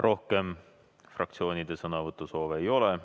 Rohkem fraktsioonidel sõnavõtusoove ei ole.